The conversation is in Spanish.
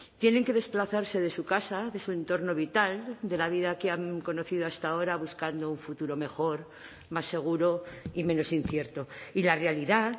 tienen que desplazarse de su casa de su entorno vital de la vida que han conocido hasta ahora buscando un futuro mejor más seguro y menos incierto y la realidad